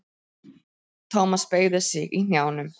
Thomas beygði sig í hnjánum.